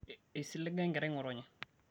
eisiliga enkerai ngotonye